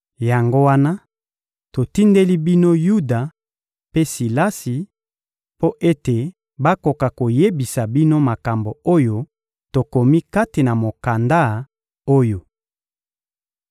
Yango wana, totindeli bino Yuda mpe Silasi mpo ete bakoka koyebisa bino makambo oyo tokomi kati na mokanda oyo.